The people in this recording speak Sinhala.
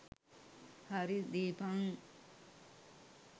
හරි දීපන්.